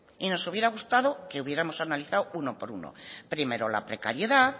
y nos hubiera gustado que hubiéramos analizado uno por uno primero la precariedad